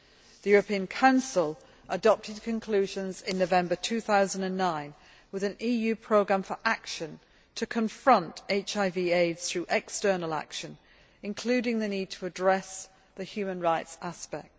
The European Council adopted conclusions in November 2009, with an EU programme for action to confront HIV AIDS through external action, including the need to address the human rights aspect.